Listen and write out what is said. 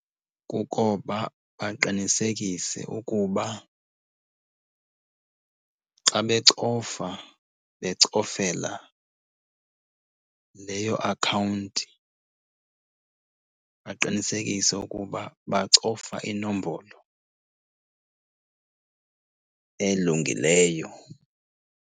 Kukoba baqinisekise ukuba xa becofa becofela leyo akhawunti baqinisekise ukuba bacofa inombolo elungileyo.